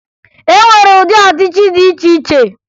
E nwere ụdị ọchịchị dị iche iche